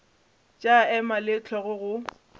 tša ema le hlogo go